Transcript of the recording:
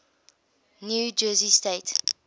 new jersey state